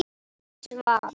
Ásta svaf.